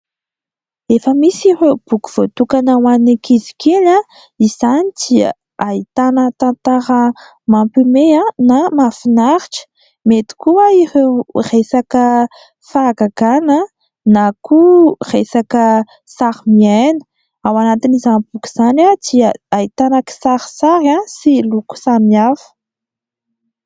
Efa misy ireo boky voatokana ho an'ny ankizy kely. Izany dia ahitana tantara mampiomehy na mahafinaritra. Mety koa ireo resaka fahagagana na koa resaka sarimiaina. Ao anatin'izany boky izany dia ahitana kisarisary sy loko samihafa.